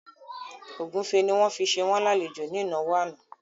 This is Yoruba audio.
Ògúnfe ni wọ́n fi ṣe wọ́n lálejò ní ìnáwó àná